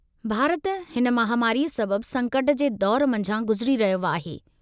भारत हिन महामारीअ सबब संकट जे दौरु मंझां गुज़री रहियो आहे।